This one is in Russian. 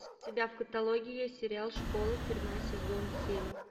у тебя в каталоге есть сериал школа тюрьма сезон семь